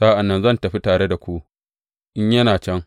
Sa’an nan zan tafi tare da ku in yana can.